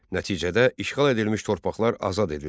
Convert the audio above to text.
Nəticədə işğal edilmiş torpaqlar azad edildi.